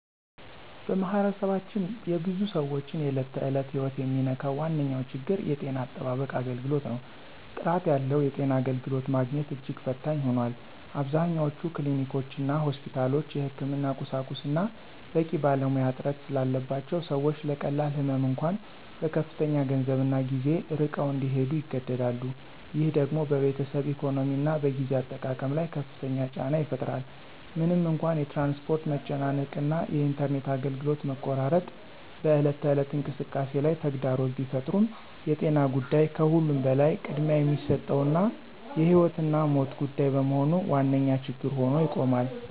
በማኅበረሰባችን የብዙ ሰዎችን የዕለት ተዕለት ሕይወት የሚነካው ዋነኛው ችግር የጤና አጠባበቅ አገልግሎት ነው። ጥራት ያለው የጤና አገልግሎት ማግኘት እጅግ ፈታኝ ሆኗል። አብዛኞቹ ክሊኒኮችና ሆስፒታሎች የሕክምና ቁሳቁስና በቂ ባለሙያ እጥረት ስላለባቸው ሰዎች ለቀላል ህመም እንኳ በከፍተኛ ገንዘብና ጊዜ ርቀው እንዲሄዱ ይገደዳሉ። ይህ ደግሞ በቤተሰብ ኢኮኖሚና በጊዜ አጠቃቀም ላይ ከፍተኛ ጫና ይፈጥራል። ምንም እንኳ የትራንስፖርት መጨናነቅ እና የኢንተርኔት አገልግሎት መቆራረጥ በዕለት ተዕለት እንቅስቃሴ ላይ ተግዳሮት ቢፈጥሩም የጤና ጉዳይ ከሁሉም በላይ ቅድሚያ የሚሰጠውና የሕይወትና ሞት ጉዳይ በመሆኑ ዋነኛ ችግር ሆኖ ይቆማል።